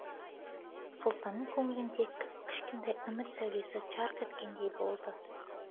сұлтанның көңілінде кіп кішкентай үміт сәулесі жарқ еткендей болды